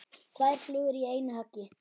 Tvær flugur í einu höggi.